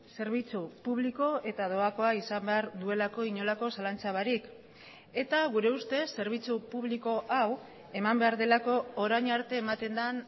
zerbitzu publiko eta doakoa izan behar duelako inolako zalantza barik eta gure ustez zerbitzu publiko hau eman behar delako orain arte ematen den